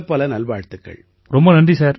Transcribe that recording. உங்களுக்கு பலப்பல நல்வாழ்த்துக்கள்